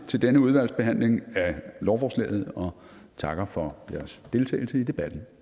til denne udvalgsbehandling af lovforslaget og takker for jeres deltagelse i debatten